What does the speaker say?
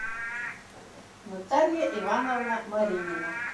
наталья ивановна маринина